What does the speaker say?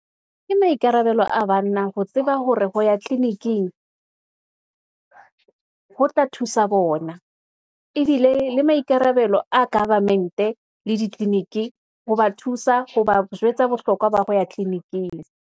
Ke maikarabelo a banna ho tseba hore ho ya tliliniking , ho tla thusa bona, ebile le maikarabelo a government-e, le ditliliniki, ho ba thusa, ho ba jwetsa bohlokwa ba ho ya tliliniking.